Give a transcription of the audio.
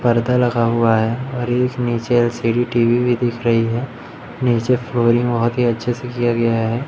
परदा लगा हुआ है और इस नीचे एलसीडी टी_वी भी दिख रही है नीचे फ्लोरिंग बहोत ही अच्छे से किया गया है।